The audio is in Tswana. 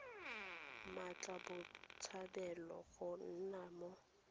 mmatla botshabelo go nna mo